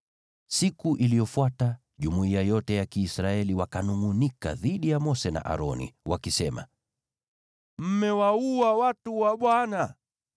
Siku iliyofuata jumuiya yote ya Kiisraeli wakanungʼunika dhidi ya Mose na Aroni, wakisema, “Mmewaua watu wa Bwana .”